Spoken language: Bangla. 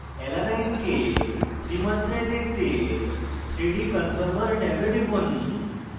alanine কে ত্রিমাত্রায় 3 dimensions দেখতে 3d conformer ট্যাবে টিপুন